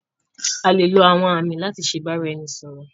A lè lo àwọn àmì láti ṣe ìbáraẹnisọ̀rọ̀.